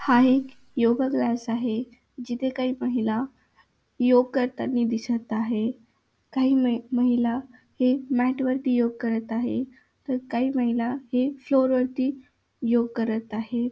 हा एक yoga class आहे. जिथे काही महिला योग करतानी दिसत आहे. काही म महिला हे मॅट वरती योग करत आहे. तर काही महिला हे फ्लोर वरती योग करत आहेत.